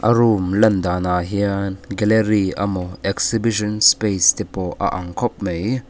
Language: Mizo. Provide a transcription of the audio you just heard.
a room lan dan ah hian gallery emaw exhibition space te pawh a ang khawp mai.